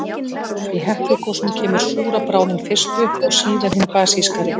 Í Heklugosum kemur súra bráðin fyrst upp, og síðan hin basískari.